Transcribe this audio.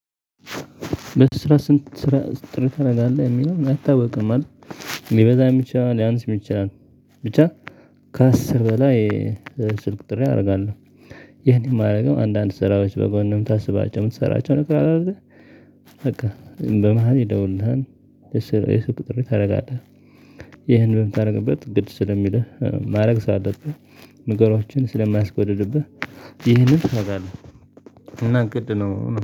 በስራ ስንት ስራ ጥሪ ታረጋለህ የሚለው አይታወቅም ማለት። ሊበዛም ይችላል ሊያንስም ይችላል። ብቻ ከአስር በላይ ስልክ ጥሪ አረጋለሁ። ይሄን የማረገው አንዳንድ ስራዎች በጎን የምታስባቸው የምትሰራቸው ነገር አለ አይደል? በቃ በመሃል ይደውልልሃል የሱቅ ጥሪ ታረጋለህ። ይህን በምታደርግበት ግድ ስለሚልህ ማረግ ሳለብህ ነገሮችን ስለማስጎድድብህ ይህንን እሰራለሁ። እና ግድ ነው